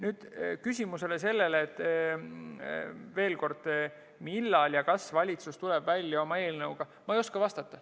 Sellele küsimusele, millal ja kas valitsus tuleb välja oma eelnõuga, ma ei oska vastata.